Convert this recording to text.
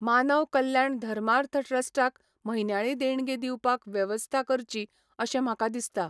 मानव कल्याण धर्मार्थ ट्रस्ट क म्हयन्याळी देणगी दिवपाक वेवस्था करची अशें म्हाका दिसता.